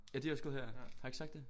Ja de har også gået her har jeg ikke sagt det